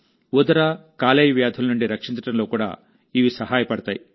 ఉదర కాలేయ వ్యాధుల నుండి రక్షించడంలో కూడా ఇవి సహాయపడతాయి